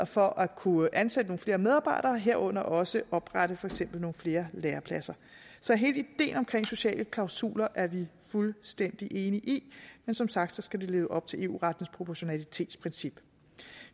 for at kunne ansætte nogle flere medarbejdere herunder også at oprette for eksempel nogle flere lærepladser så hele ideen om sociale klausuler er vi fuldstændig enige i men som sagt skal de leve op til eu rettens proportionalitetsprincip